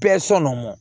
Bɛɛ sɔn mɔn